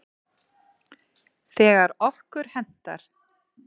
Þegar okkur hentar.